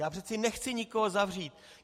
Já přece nechci nikoho zavřít.